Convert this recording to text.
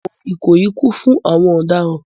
Ẹ̀wọ̀n Ikoyi kún fún àwọn ọ̀daràn